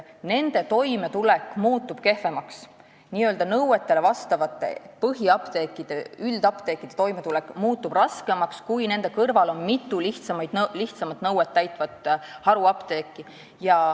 Nõuetele vastavate põhiapteekide ja üldapteekide toimetulek muutub raskemaks, kui nende kõrval on mitu lihtsamaid nõudeid täitvat haruapteeki.